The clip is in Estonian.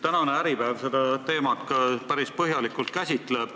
Tänane Äripäev käsitleb seda teemat päris põhjalikult.